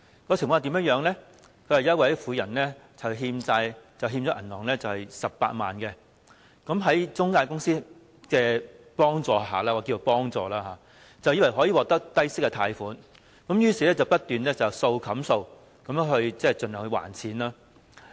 報道指有一名婦人欠下銀行18萬元的債務，在中介公司的幫助下——我暫且稱之為幫助——她以為可以獲得低息貸款，結果便不斷要"數冚數"地還款。